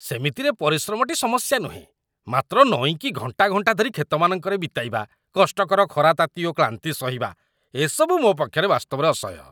ସେମିତିରେ ପରିଶ୍ରମଟି ସମସ୍ୟା ନୁହେଁ, ମାତ୍ର ନଇଁକି ଘଣ୍ଟା ଘଣ୍ଟା ଧରି କ୍ଷେତମାନଙ୍କରେ ବିତାଇବା, କଷ୍ଟକର ଖରାତାତି ଓ କ୍ଳାନ୍ତି ସହିବା, ଏସବୁ ମୋ ପକ୍ଷେ ବାସ୍ତବରେ ଅସହ୍ୟ।